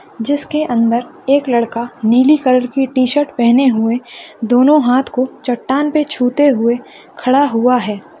जिसके अंदर एक लड़का नीली कलर टी-शर्ट पहने हुए दोनों हात को चट्टान को छूते हुए खड़ा हुआ है।